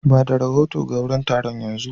Ba da rahoto ga wurin taron yanzu.